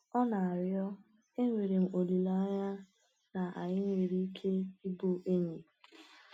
Ọ na-arịọ, “Enwere m olileanya na anyị nwere ike ịbụ enyi.”